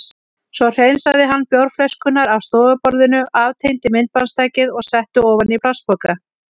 Svo hreinsaði hann bjórflöskurnar af stofuborðinu, aftengdi myndbandstækið og setti ofan í plastpoka.